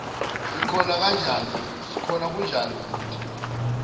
sikhona kunjani bhuti